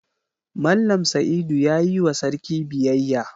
Mallam Saidu ya yi wa sarki biyayya.